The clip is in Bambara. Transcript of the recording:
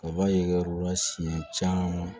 Kaba ye u la siɲɛ caman